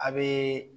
A bee